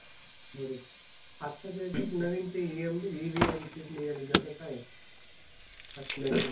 बरोबर. आताच्या ह्याच्यात नवीन ती MEVM chip निघाली आहे त्याचं काय आहे?